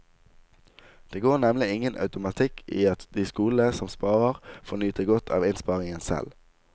Det går nemlig ingen automatikk i at de skolene som sparer får nyte godt av innsparingen selv.